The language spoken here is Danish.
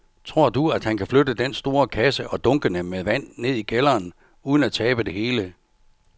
Tror du, at han kan flytte den store kasse og dunkene med vand ned i kælderen uden at tabe det hele?